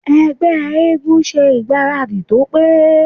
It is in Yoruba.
Ẹgbẹ́ eégún ṣe ìgbáradì tó pé.